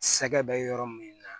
Sɛgɛ bɛ yɔrɔ min na